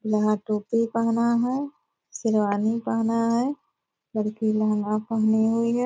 यहाँ टोपी पहना है शेरवानी पहना है लड़की लेहंगा पहनी हुई है ।